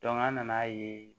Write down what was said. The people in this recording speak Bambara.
an nana ye